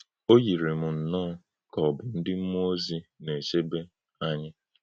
Ó yiri m nnọọ kà ọ̀ bụ́ ǹdí̀ m̄múọ́ òzì nā-ēchèbè ānyị̄.